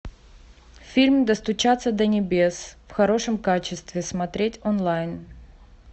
фильм достучаться до небес в хорошем качестве смотреть онлайн